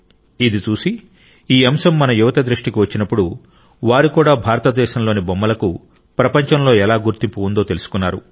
ఇది చూసి ఈ అంశం మన యువత దృష్టికి వచ్చినప్పుడు వారు కూడా భారతదేశంలోని బొమ్మలకు ప్రపంచంలో ఎలా గుర్తింపు ఉందో తెలుసుకున్నారు